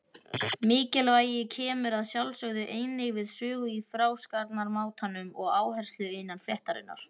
Mikilvægi kemur að sjálfsögðu einnig við sögu í frásagnarmátanum og áherslumun innan fréttarinnar.